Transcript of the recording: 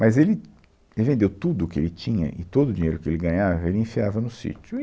Mas ele vendeu tudo o que ele tinha e todo o dinheiro que ele ganhava ele enfiava no sítio. E